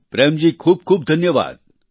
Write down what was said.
પ્રેમ જી ખૂબ ખૂબ ધન્યવાદ